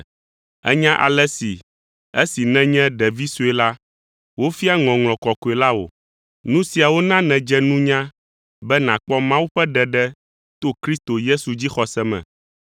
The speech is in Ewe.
Ènya ale si, esi nènye ɖevi sue la, wofia Ŋɔŋlɔ Kɔkɔe la wò, nu siawo na nèdze nunya be nàkpɔ Mawu ƒe ɖeɖe to Kristo Yesu dzixɔse me.